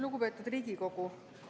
Lugupeetud Riigikogu!